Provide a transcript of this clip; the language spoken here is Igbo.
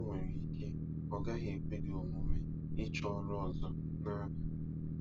O nwere ike ọ gaghị ekwe gị omume ịchọ ọrụ ọzọ na Abia.